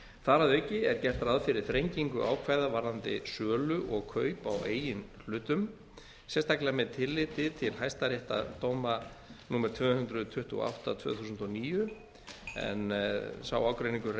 þar að auki er gert ráð fyrir þrengingu ákvæða varðandi sölu og kaup á eigin hlutum sérstaklega með tilliti til hæstaréttardóma númer tvö hundruð tuttugu og átta tvö þúsund og níu en sá ágreiningur